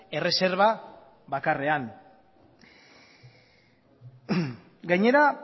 erreserba bakarrean gainera